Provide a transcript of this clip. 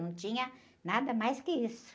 Não tinha nada mais que isso.